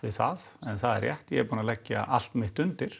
það en það er rétt að ég er búinn að leggja allt mitt undir